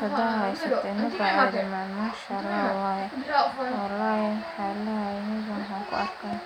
inuu jabo. Sidaas darteed, waa in la baro wlh meshan waxaa kuarkaa wax fican.